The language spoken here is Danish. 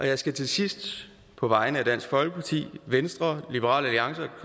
jeg skal til sidst på vegne af dansk folkeparti venstre liberal alliance og